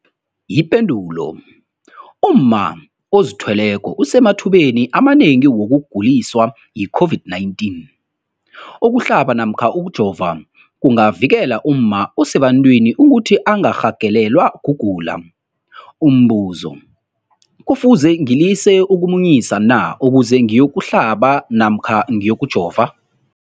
Ipendulo, umma ozithweleko usemathubeni amanengi wokuguliswa yi-COVID-19. Ukuhlaba namkha ukujova kungavikela umma osebantwini ukuthi angarhagalelwa kugula. Umbuzo, kufuze ngilise ukumunyisa na ukuze ngiyokuhlaba namkha ngiyokujova?